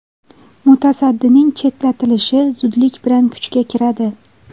Mutasaddining chetlatilishi zudlik bilan kuchga kiradi.